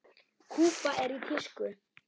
Kúba er í tísku.